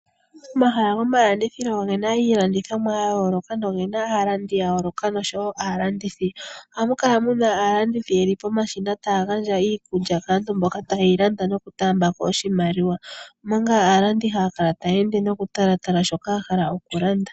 Omahala gomalandithilo oge na iilandithomwa ya yooloka , noge na aalandi ya yooloka nosho wo aalandithi. Oha mu kala mu na aalanduthi ye li pomashina, taa yi gandja iikulya kaantu mboka taa yi landa, noku taamba ko oshimaliwa, omanga aalandu haa kala taa ende noku talatala shoka ya hala oku landa.